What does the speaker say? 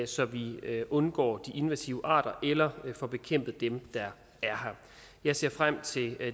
så vi undgår de invasive arter eller får bekæmpet dem der er her jeg ser frem til